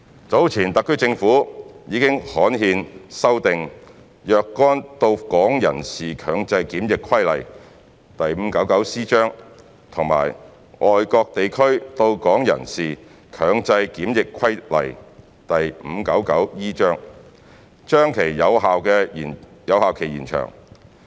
早前特區政府已刊憲修訂《若干到港人士強制檢疫規例》及《外國地區到港人士強制檢疫規例》，把其有效期延長。